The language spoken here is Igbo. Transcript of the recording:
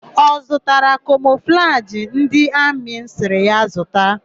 Ọ zụtara kamọflajị ndị amị m sịrị ya zụta?